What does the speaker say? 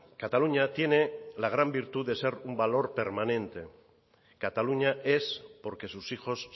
cataluña tiene la gran virtud de ser un valor permanente cataluña es porque sus hijos